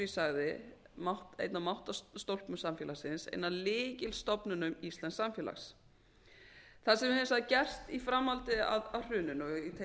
ég sagði einn af máttarastólpum samfélagsins ein af lykilstofnunum íslensks samfélags það sem hefur hins vegar gerst í framhaldi af hruninu og í tengslum við